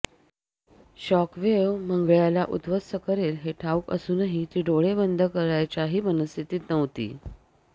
shock wave मंगळ्याला उध्वस्त करेल हे ठाऊक असूनही ती डोळे बंद करायच्याही मनस्थितीत नव्हती